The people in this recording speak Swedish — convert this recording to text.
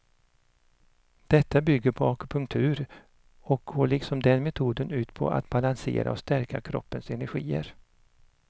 Detta bygger på akupunktur och går liksom den metoden ut på att balansera och stärka kroppens energier.